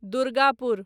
Durgapur